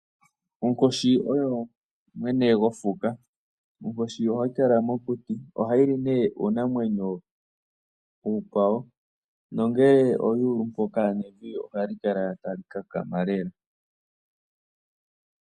Onkoshi oyo mwene gofuka, onkoshi ohayi kala mokuti, oha yili nee iinamwenyo iikwawo, nongele oya ulu mpoka, nevi ohali kala tali kakama lela.